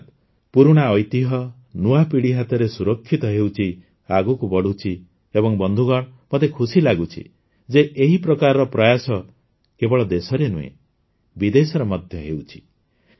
ଅର୍ଥାତ ପୁରୁଣା ଐତିହ୍ୟ ନୂଆ ପିଢ଼ି ହାତରେ ସୁରକ୍ଷିତ ହେଉଛି ଆଗକୁ ବଢ଼ୁଛି ଏବଂ ବନ୍ଧୁଗଣ ମୋତେ ଖୁସି ଲାଗୁଛି ଯେ ଏହି ପ୍ରକାରର ପ୍ରୟାସ କେବଳ ଦେଶରେ ନୁହେଁ ବିଦେଶରେ ମଧ୍ୟ ହେଉଛି